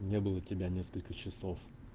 не было тебя несколько часов